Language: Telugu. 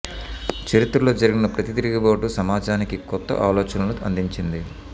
చరిత్రలో జరి గిన ప్రతి తిరుగుబాటు సమాజానికి కొత్త ఆలోచనలను అందించింది